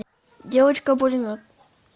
девочка пулемет